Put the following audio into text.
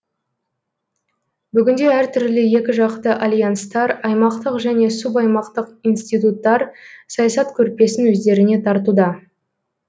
бүгінде әртүрлі екіжақты альянстар аймақтық және субаймақтық институттар саясат көрпесін өздеріне тартуда